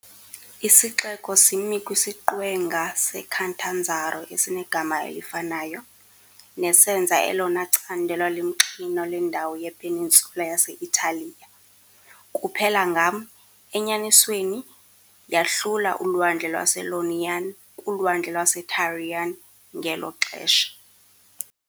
Isixeko simi kwisiqwenga seCatanzaro esinegama elifanayo, nesenza elona candelo limxinwa lendawo yepeninsula yase-Italiya - kuphela ngam, enyanisweni, yahlula uLwandle lwase-Ionian kuLwandle lwaseTyrrhenian ngelo xesha.